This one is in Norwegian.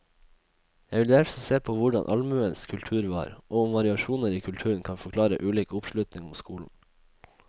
Jeg vil derfor se på hvordan allmuens kultur var, og om variasjoner i kulturen kan forklare ulik oppslutning om skolen.